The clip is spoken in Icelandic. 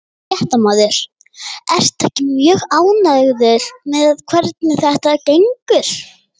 Fréttamaður: Ertu ekki mjög ánægður með hvernig þetta gengur?